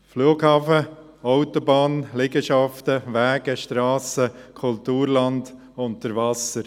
Flughafen, Autobahn, Liegenschaften, Wege, Strassen, Kulturland unter Wasser: